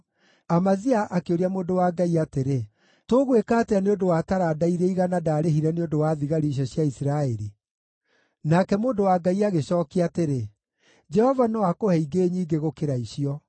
Amazia akĩũria mũndũ wa Ngai atĩrĩ, “Tũgwĩka atĩa nĩ ũndũ wa taranda iria 100 ndarĩhire nĩ ũndũ wa thigari icio cia Isiraeli?” Nake mũndũ wa Ngai agĩcookia atĩrĩ, “Jehova no akũhe ingĩ nyingĩ gũkĩra icio.”